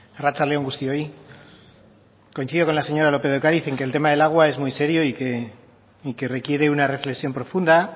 arratsalde on guztioi coincido con la señora lópez de ocariz en que el tema del agua es muy serio y que requiere una reflexión profunda